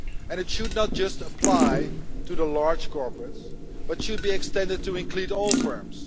It should not just apply to the large corporates, but should be extended to include all firms.